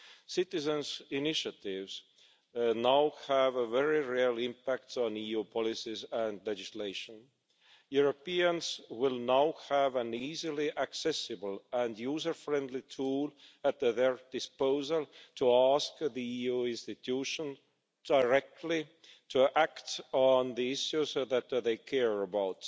Citizens' initiatives now have a very real impact on EU policies and legislation. Europeans will now have an easily accessible and user-friendly tool at their disposal to ask the EU institutions directly to act on the issues that they care about.